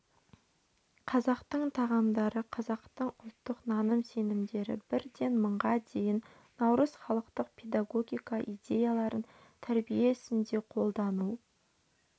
қазақтың тағамдары қазақтың ұлттық наным-сенімдері бірден мыңға дейін наурыз халықтық педагогика идеяларын тәрбие ісінде қолдану